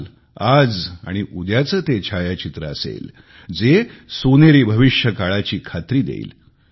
काल आज आणि उद्याचे ते छायाचित्र असेल जे सोनेरी भविष्यकाळाची खात्री देईल